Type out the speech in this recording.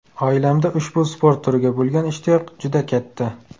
Oilamda ushbu sport turiga bo‘lgan ishtiyoq juda katta.